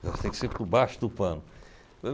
tem que ser por baixo do pano.